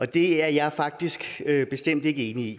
det er jeg faktisk bestemt ikke enig i